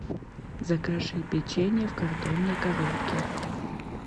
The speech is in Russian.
закажи печенье в картонной коробке